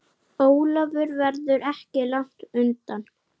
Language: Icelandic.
Efst er hjálmur með hrúti.